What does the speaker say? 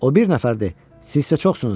O bir nəfərdir, siz isə çoxsunuz.